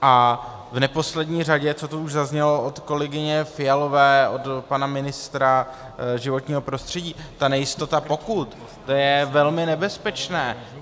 A v neposlední řadě, co tu už zaznělo od kolegyně Fialové, od pana ministra životního prostředí, ta nejistota pokut, to je velmi nebezpečné.